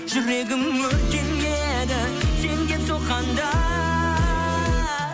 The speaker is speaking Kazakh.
жүрегім өртенеді сен деп соққанда